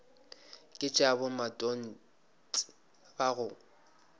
ke tša bomatontshe ba go